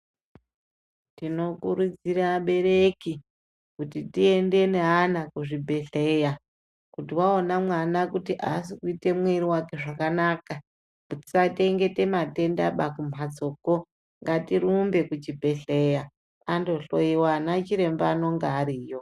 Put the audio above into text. Tinokurudzira abereki kuti tiende neana kuzvibhedhleya kuti waona mwana kuti asi kuite mwiri wake zvakanaka. Tisachengete matenda kumhatsokwo ngatirumbe kuchibhedhleya andohloyiwa anachiremba anenge ariyo.